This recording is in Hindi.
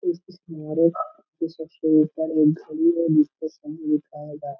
सबसे ऊपर मे एक घड़ी है जिसपे समय दिखाऐगा।